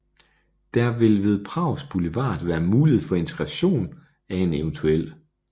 Der vil ved Prags Boulevard være mulighed for integration af en evt